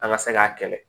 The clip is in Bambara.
An ka se k'a kɛlɛ